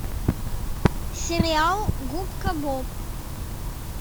сериал губка боб